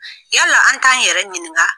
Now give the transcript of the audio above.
Yala la an t'an yɛrɛ ɲininka?